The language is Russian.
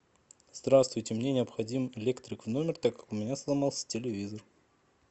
здравствуйте мне необходим электрик в номер так как у меня сломался телевизор